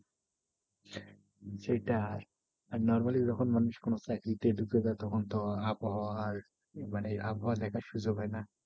সেটাই আর normally যখন মানুষ কোনো চাকরিতে ঢুকে যায় তখন তো আবহাওয়া আর মানে আবহাওয়া দেখার সুযোগ হয়না।